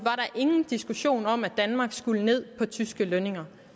ingen diskussion om at danmark skulle ned på tyske lønninger